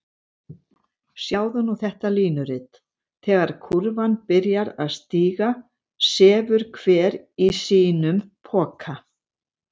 Sjáðu nú þetta línurit: þegar kúrfan byrjar að stíga sefur hver í sínum poka.